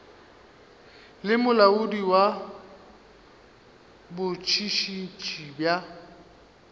le molaodi wa botšhotšhisi bja